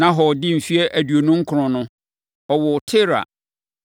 Nahor dii mfeɛ aduonu nkron no, ɔwoo Tera.